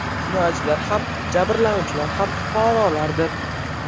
Jinoyatchilar ham, jabrlanuvchilar ham fuqarolardir.